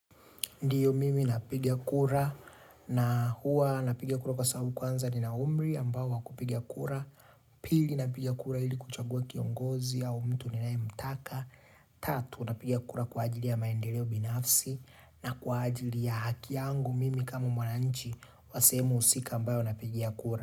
Ndiyo mimi napiga kura na huwa napigia kura kwa sababu kwanza nina umri ambao wakupiga kura, pili napiga kura ili kuchagua kiongozi au mtu ninaye mtaka, tatu napigia kura kwa ajili ya maendeleo binafsi na kwa ajili ya haki yangu mimi kama mwananchi wa sehemu husika ambayo napigia kura.